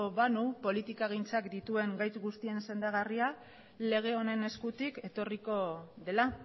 banu politikagintzak dituen gaitz guztien sendagarria lege honen eskutik etorriko dela